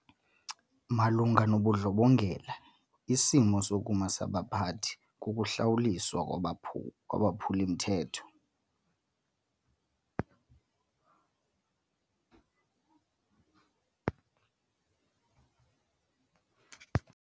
Malunga nobundlobongela isimo sokuma sabaphathi kukuhlawuliswa kwabaphu kwabaphuli-mthetho.